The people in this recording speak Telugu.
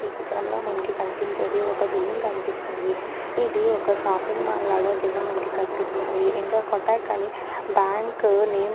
ఈచిత్రంలో మనకి కనిపించేది ఒక్క బిల్డింగ్ కనిపిస్తుందిఇది ఒక్క షాపింగ్ మాల్ లాగా కింద మనకి కనిపిస్తుంది ఇంక కోటక్ అని బ్యాంక్ నేమ్ కూడా మనకి --.